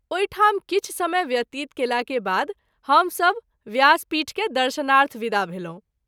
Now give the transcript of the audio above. ओहि ठाम किछु समय व्यतीत केला के बाद हम सभ व्यास पीठ के दर्शनार्थ विदा भेलहुँ।